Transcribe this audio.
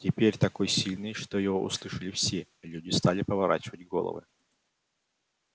теперь такой сильный что его услышали все люди стали поворачивать головы